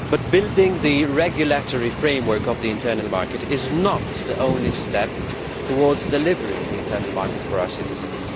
Building the regulatory framework of the internal market is not, however, the only step towards delivering the internal market for our citizens.